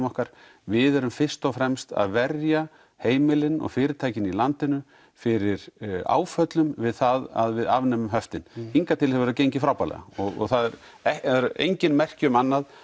okkar við erum fyrst og fremst að verja heimilin og fyrirtækin í landinu fyrir áföllum við það að við afnemum höftin hingað til hefur það gengið frábærlega og það eru engin merki um annað